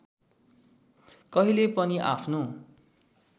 कहिले पनि आफ्नो